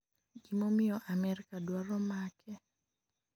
Gimomiyo Amerka dwaro make?